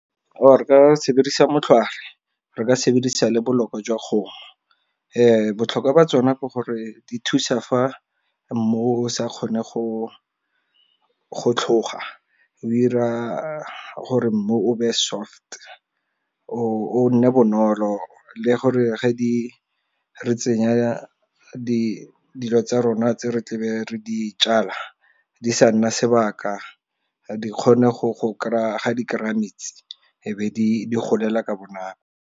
Or re ka sebedisa motlhware, re ka sebedisa le boloko jwa kgomo, botlhokwa ba tsona ke gore di thusa fa mo sa kgone go tlhoga o ira gore mmu o be soft o nne bonolo le gore ge di re tsenya dilo tsa rona tse re tlabe re di jala di sa nna sebaka di kgone go kry-a metsi e be di golela ka bonako.